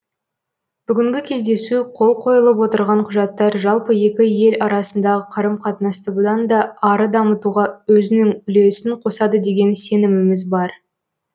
бүгінгі кездесу қол қойылып отырған құжаттар жалпы екі ел арасындағы қарым қатынасты бұдан да ары дамытуға өзінің үлесін қосады деген сеніміміз бар